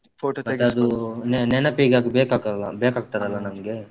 Photo . ತೆಗಿಸ್ಕೊಂಡ್. ಮತ್ತೆ ಅದೂ ನೆನಪಿಗೆ ಅದು ಬೇಕಾಗ್ತಾದಲ್ಲ ಬೇಕಾಗ್ತಾದಲ್ಲ ನಮ್ಗೆ.